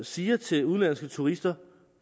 siger til udenlandske turister